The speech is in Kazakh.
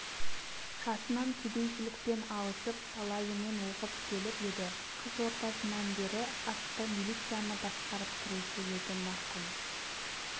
жасынан кедейшілікпен алысып талайымен оқып келіп еді қыс ортасынан бері атты милицияны басқарып тұрушы еді марқұм